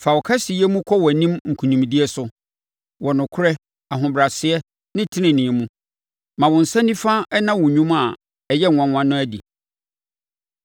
Fa wo kɛseyɛ mu kɔ wʼanim nkonimdie so wɔ nokorɛ, ahobrɛaseɛ ne tenenee mu; ma wo nsa nifa nna wo nnwuma a ɛyɛ nwanwa no adi.